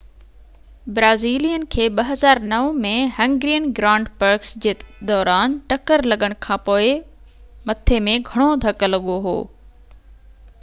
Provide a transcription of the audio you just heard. Brazilian کي 2009 ۾ Hungarian Grand Prix جي دوران ٽڪر لڳڻ کانپوءِ مٿي ۾ گهڻو ڌڪ لڳو هو